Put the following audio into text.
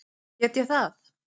Get ég það?